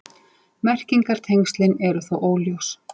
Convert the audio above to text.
Merkingartengslin eru þó óljós.